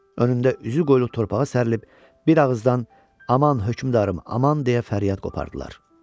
Önündə üzüqoylu torpağa sərilib bir ağızdan "Aman, hökmdarım, aman!" deyə fəryad qopardılar.